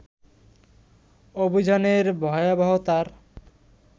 অভিযানের ভয়াবহতার